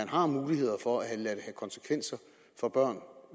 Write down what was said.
har mulighed for at lade det få konsekvenser for børn